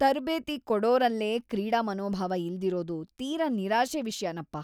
ತರ್ಬೇತಿ ಕೊಡೋರಲ್ಲೇ ಕ್ರೀಡಾ ಮನೋಭಾವ ಇಲ್ದಿರೋದು ತೀರಾ ನಿರಾಶೆ ವಿಷ್ಯನಪ್ಪ.